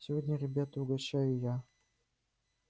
сегодня ребята угощаю я